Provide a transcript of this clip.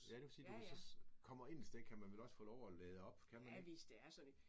Ja det vil sige hvis du så kommer ind et sted kan man vel også få lov at lade op kan man ikke?